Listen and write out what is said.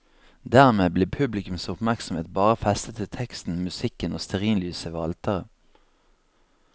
Dermed blir publikums oppmerksomhet bare festet til teksten, musikken og stearinlysene ved alteret.